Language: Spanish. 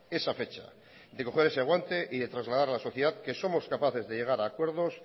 esa fecha de coger ese guante y de trasladar a la sociedad que somos capaces de llegar a acuerdos